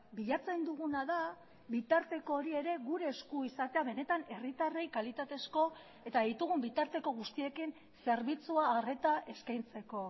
bilatzen duguna da bitarteko hori ere gure esku izatea benetan herritarrei kalitatezko eta ditugun bitarteko guztiekin zerbitzua arreta eskaintzeko